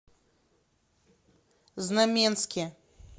знаменске